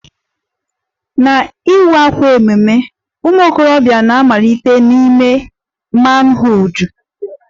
Na iwa àkwà ememme ụmụ okorobịa na-malitere n'ime manhood